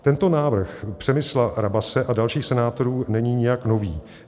Tento návrh Přemysla Rabase a dalších senátorů není nijak nový.